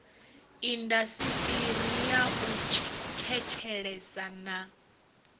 indasiṱiri ya u thetshelesa na